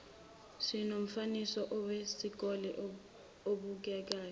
sinomfaniswano wesikole obukekayo